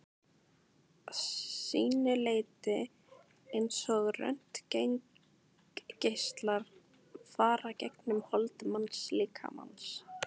að sínu leyti eins og röntgengeislar fara gegnum hold mannslíkamans.